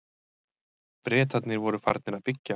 Bretarnir voru farnir að byggja.